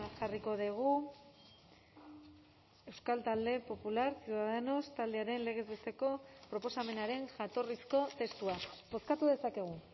jarriko dugu euskal talde popular ciudadanos taldearen legez besteko proposamenaren jatorrizko testua bozkatu dezakegu